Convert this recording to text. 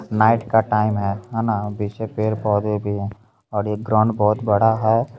Night का time है हैना पीछे पेड़-पोधे भी हैं और ये ग्राउंड बहुत बड़ा है।